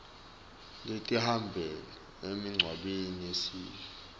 letihamba emigwaceni yesive